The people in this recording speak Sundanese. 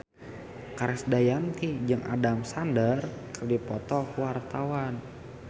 Krisdayanti jeung Adam Sandler keur dipoto ku wartawan